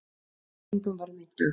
Engum varð meint af